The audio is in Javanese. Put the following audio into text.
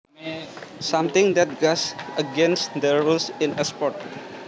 Something that goes against the rules in a sport